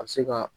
A bɛ se ka